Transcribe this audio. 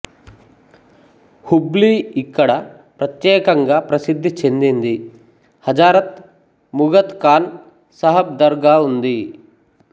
K Hubli ఇక్కడ ప్రత్యేకంగా ప్రసిద్ధి చెందింది హజారత్ ముఘత్ ఖాన్ సహబ్ దర్గా ఉంది